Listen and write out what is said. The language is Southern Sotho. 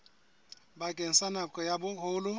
bakeng sa nako ya boholo